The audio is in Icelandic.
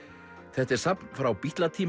þetta er safn frá